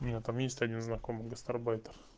там есть один знакомый гастарбайтер